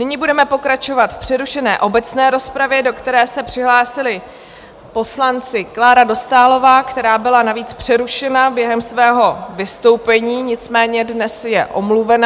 Nyní budeme pokračovat v přerušené obecné rozpravě, do které se přihlásili poslanci Klára Dostálová, která byla navíc přerušena během svého vystoupení, nicméně dnes je omluvena.